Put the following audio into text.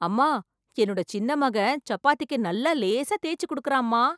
அம்மா, என்னோட சின்ன மகன் சப்பாத்திக்கு நல்லா லேசா தேய்ச்சு குடுக்கறாம்மா.